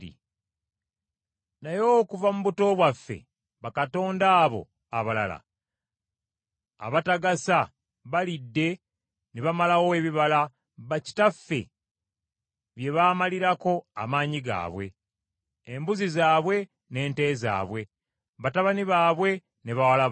Naye okuva mu buto bwaffe bakatonda abo abalala abatagasa balidde ne bamalawo ebibala bakitaffe bye baamalirako amaanyi gaabwe, embuzi zaabwe, n’ente zaabwe, batabani baabwe ne bawala baabwe.